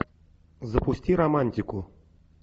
запусти романтику